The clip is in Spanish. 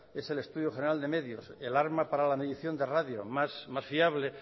es el estudio general de medios el arma para la medición de radio más fiable